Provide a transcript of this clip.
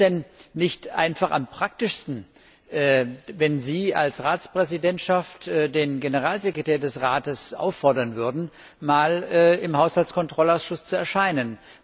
Wäre es denn nicht einfach am praktischsten, wenn Sie als Ratspräsidentschaft den Generalsekretär des Rates auffordern würden, mal im Haushaltskontrollausschuss zu erscheinen?